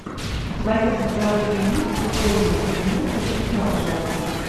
в твоем каталоге есть прикольная фильмуха типа ржаки